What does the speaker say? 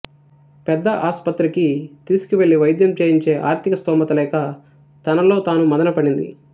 పెద్ద ఆస్పత్రికి తీసుకెళ్లి వైద్యం చేయించే ఆర్థిక స్థోమత లేక తనలో తాను మదనపడింది